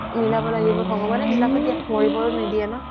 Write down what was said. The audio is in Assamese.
মিলাব লাগিব ভগৱানে মিলাব দিয়া মৰিবও নিদিয়া ন